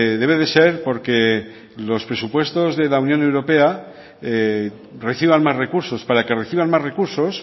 debe de ser porque los presupuestos de la unión europea reciban más recursos para que reciban más recursos